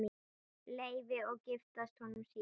Leifi og giftast honum síðar.